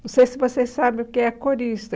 Não sei se vocês sabem o que é corista.